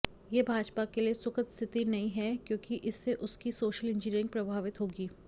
यह भाजपा के लिए सुखद स्थिति नहीं है क्योंकि इससे उसकी सोशल इंजीनियरिंग प्रभावित होगी